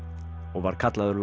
og var kallaður